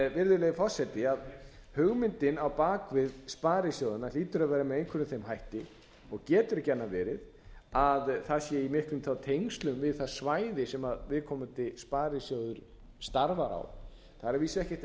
virðulegi forseti hugmyndin á bak við sparisjóðina hlýtur að vera með einhverjum þeim hætti og getur ekki annað verið en það sé í miklum tengslum þá við það svæði sem viðkomandi sparisjóður starfar á það er að vísu ekkert